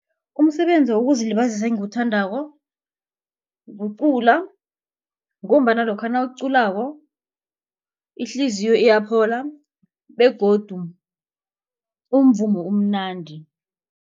Umsebenzi wokuzilibazisa engiwuthandako kucula ngombana lokha nawuculako ihliziyo iyaphola begodu umvumo umnandi.